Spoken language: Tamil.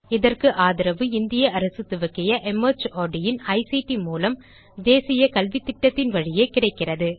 இதற்கு ஆதரவு இந்திய அரசு துவக்கிய மார்ட் இன் ஐசிடி மூலம் தேசிய கல்வித்திட்டத்தின் வழியே கிடைக்கிறது